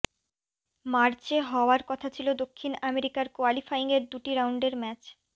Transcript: মার্চে হওয়ার কথা ছিল দক্ষিণ আমেরিকার কোয়ালিফাইংয়ের দুটি রাউন্ডের ম্যাচ